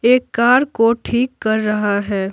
एक कार को ठीक कर रहा है।